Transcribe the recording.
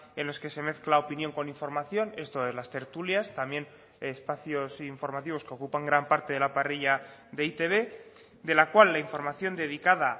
en los que se mezcla opinión con información esto es las tertulias también espacios informativos que ocupan gran parte de la parrilla de e i te be de la cual la información dedicada